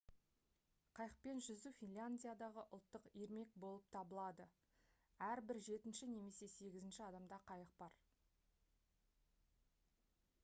қайықпен жүзу финляндиядағы ұлттық ермек болып табылады әрбір жетінші немесе сегізінші адамда қайық бар